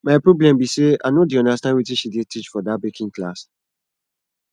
my problem be say i no dey understand wetin she dey teach for dat baking class